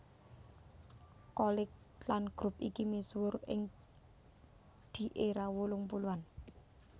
Cholik lan grup iki misuwur ing di era wolung puluhan